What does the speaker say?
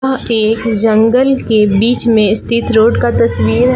वह एक जंगल के बीच में स्थित रोड का तस्वीर है।